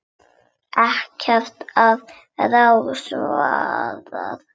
Ekkert að ráði svaraði ég.